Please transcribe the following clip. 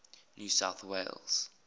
new south wales